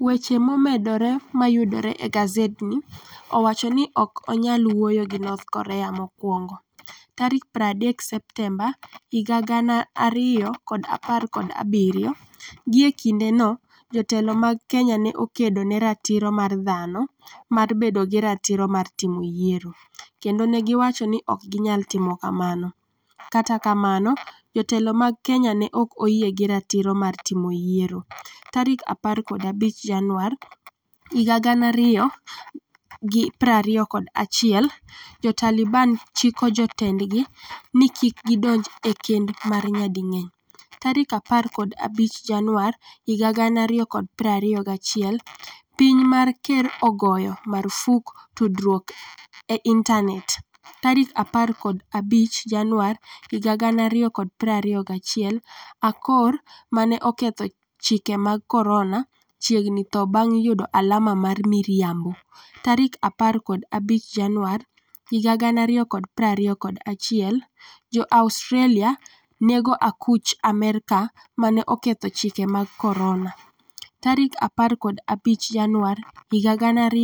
Weche momedore ma yudore e gasedni Owacho ni ok onyal wuoyo gi North Korea 'mokwongo' 30 Septemba 2017 Gie kindeno, jotelo mag Kenya ne okedo ne ratiro mar dhano mar bedo gi ratiro mar timo yiero, kendo ne giwacho ni ok ginyal timo kamano. Kata kamano, jotelo mag Kenya ne ok oyie gi ratiro mar timo yiero. 15 Januar 2021 Jo-Taliban chiko jotendgi ni kik gidonj e kend mar nyading'eny15 Januar 2021 Piny ma ker ogoyo marfuk tudruok e intanet15 Januar 2021 Akor 'ma ne oketho chike mag Corona' chiegni tho bang' yudo alama mar miriambo15 Januar 2021 Jo-Australia nego akuch Amerka 'ma ne oketho chike mag Corona'15 January